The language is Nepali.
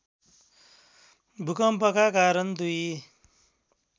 भूकम्पका कारण दुई